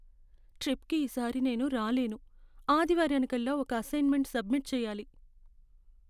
ట్రిప్కి ఈ సారి నేను రాలేను. ఆదివారానికల్లా ఒక అసైన్మెంట్ సబ్మిట్ చెయ్యాలి.